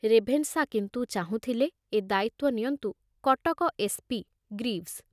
Ravenshaw କିନ୍ତୁ ଚାହୁଁଥିଲେ ଏ ଦାୟିତ୍ଵ ନିଅନ୍ତୁ କଟକ ଏସ୍ ପି ଗ୍ରୀଭସ